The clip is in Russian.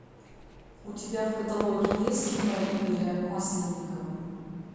у тебя в каталоге есть кино игоря масленникова